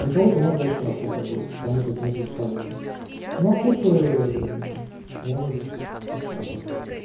на кого ты можешь даже хорошо подействует кому-то это может быть полезно ну а кто-то может пострадать